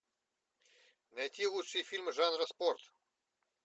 найти лучшие фильмы жанра спорт